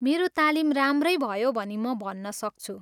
मेरो तालिम राम्रै भयो भनी म भन्नसक्छु।